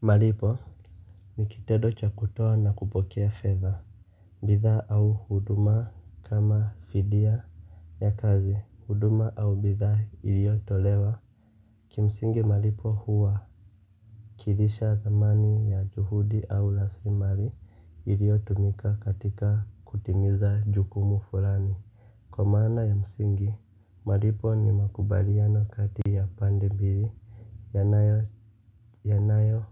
Malipo ni kitendo cha kutoa na kupokea fedha bidhas au huduma kama fidia ya kazi huduma au bidhaa iliyo tolewa. Kimsingi malipo huwakilisha dhamani ya juhudi au rasilimali iliyo tumika katika kutimiza jukumu fulani. Kwa maana ya msingi, malipo ni makubaliano kati ya pande mbili yanayo yanayo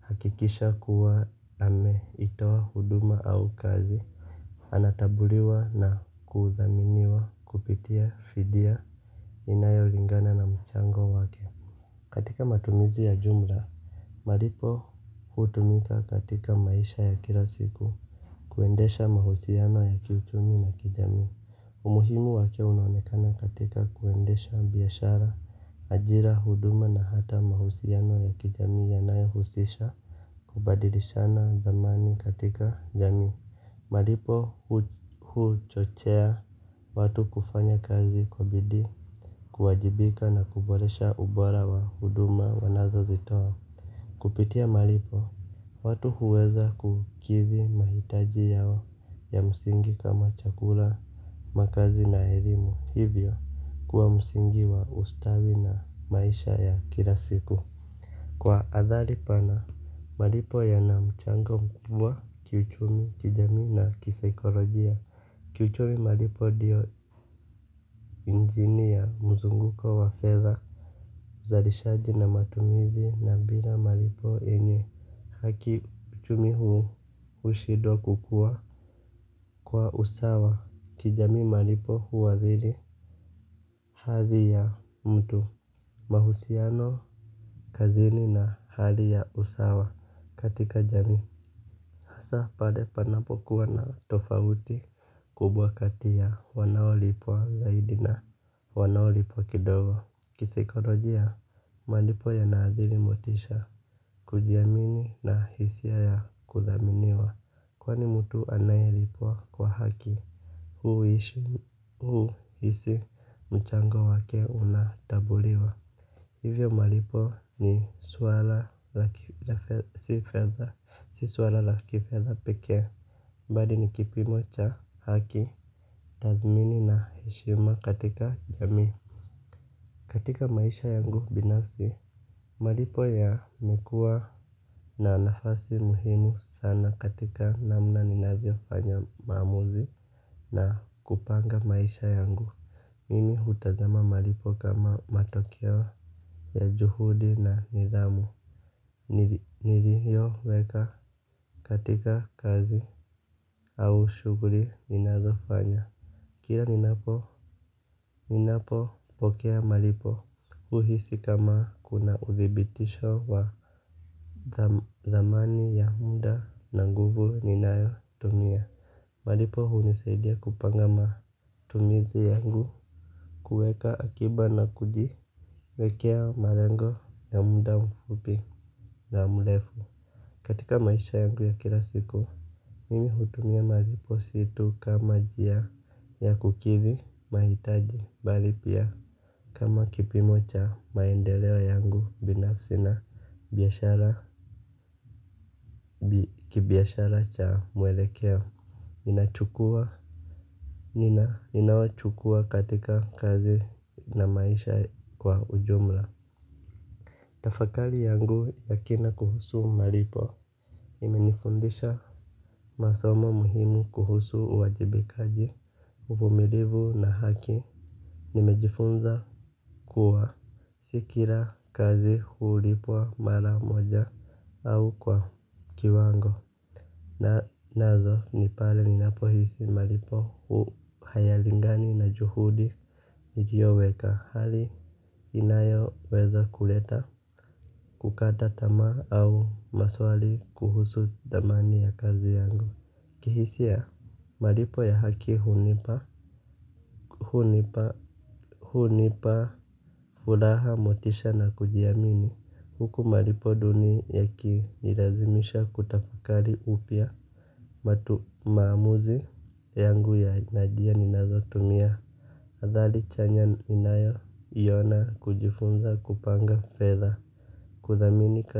hakikisha kuwa ame itawa huduma au kazi. Anatambuliwa na kuudhaminiwa kupitia fidia inayo lingana na mchango wake. Katika matumizi ya jumla malipo hutumika katika maisha ya kila siku. Kuendesha mahusiano ya kiutumi na kijami umuhimu wake unaonekana katika kuendesha biyashara, ajira, huduma na hata mahusiano ya kijami ya nayo husisha kubadilishana zamani katika jamii malipo huchochea watu kufanya kazi kwa bidii kuwajibika na kuboresha ubora wa huduma wanazo zitoa. Kupitia malipo watu huweza kukidhi mahitaji yao ya msingi kama chakula makazi na ya elimu, hivyo kuwa msingi wa ustawi na maisha ya kilasiku kwa athali pana maliipo yana mchango mkubwa kiuchumi kijamii na kisaikolojia. Kiuchumi malipo ndiyo njini ya mzunguko wa fedha uzalishaji na matumizi na bila malipo yenye haki uchumi huu ushidwa kukua. Kwa usawa kijami malipo huwadhiri. Hadhi ya mtu mahusiano kazini na hali ya usawa katika jami hasa pade panapo kuwa na tofauti kubwa katia wanaolipo zaidi na wanaolipo kidogo. Kisikolojia, malipo ya nazili motisha kujiamini na hisi ya ya kuthaminiwa. Kwani mtu anayelipwa kwa haki huu hisi mchango wake unatabuliwa. Hivyo malipo ni swala la kifedha peke. Badini kipimocha haki, tazmini na heshima katika jami. Katika maisha yangu binafsi malipo yamekua na nafasi muhimu sana katika namna ninavyofanya maamuzi na kupanga maisha yangu. Mimi hutazama malipo kama matokeo ya juhudi na nidhamu. Niliyo weka katika kazi au shuguri ninazo fanya. Kira ninapo ninapo pokea malipo huhisi kama kuna uthibitisho wa amani ya muda na nguvu inayotumia. Malipo hunisaidia kupanga matumizi yangu. Kuweka akiba na kuji wekea malengo ya muda mfupi na mrefu. Katika maisha yangu ya kila siku mimi hutumia malipo situ kama njia ya kukidhi mahitaji bali pia kama kipimo cha maendeleo yangu. Binafsi na kibiashara cha mwelekeo inachukua inayochukua katika kazi na maisha kwa ujumla. Tafakari yangu ya kina kuhusu malipo imenifundisha masomo muhimu kuhusu uwajibikaji uvumilivu na haki. Nimejifunza kuwa si kila kazi hulipwa mara moja au kwa kiwango. Na nazo ni pale ninapo hisi malipo hu hayalingani na juhudi. Niliyo weka hali inayo weza kuleta kukata tamaa au maswali kuhusu dhamani ya kazi yangu. Kihisia malipo ya haki hunipa Hunipa Furaha motisha na kujiamini huku malipo duni yaki nilazimisha kutafakari upya. Matu maamuzi yangu ya njia ninazotumia adhali chenya ninayo yona kujifunza kupanga fedha. Kudhamini kazi.